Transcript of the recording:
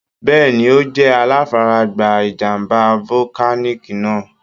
Bẹ́ẹ̀ni. Ó jẹ́ aláfaragbá ìjàm̀bá volcanic náà.